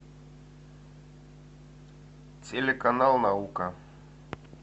телеканал наука